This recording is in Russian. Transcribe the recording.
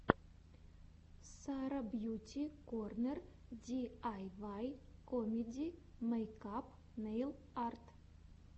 сара бьюти корнер ди ай вай комеди мейкап нейл арт